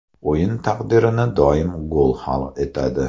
O‘yin taqdirini doim gol hal etadi.